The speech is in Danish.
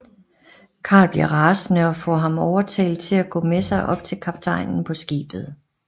Karl bliver rasende og får ham overtalt til at gå med sig op til kaptajnen på skibet